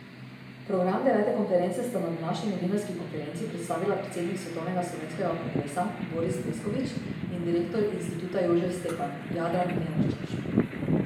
Program devete konference sta na današnji novinarski konferenci predstavila predsednik Svetovnega slovenskega kongresa Boris Pleskovič in direktor Instituta Jožef Stefan Jadran Lenarčič.